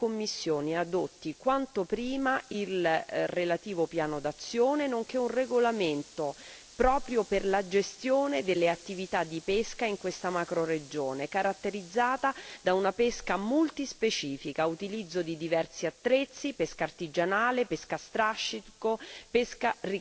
Auspichiamo che la Commissione adotti quanto prima il relativo piano d'azione nonché un regolamento proprio per la gestione delle attività di pesca in questa macroregione, caratterizzata da una pesca multispecifica, dall'utilizzo di diversi attrezzi, da una pesca artigianale, a strascico